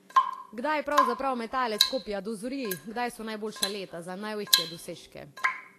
Kdaj pravzaprav metalec kopja dozori, kdaj so najboljša leta za največje dosežke?